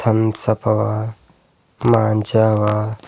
thumbs Up ಅವ ಮಾಂಜಾ ಅವ--